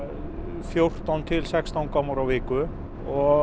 fjórtán til sextán gámar á viku og